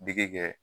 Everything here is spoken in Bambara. Digi kɛ